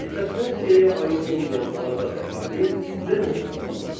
Aristokratiyaya aid olmayan azad əhali demos adlanırdı.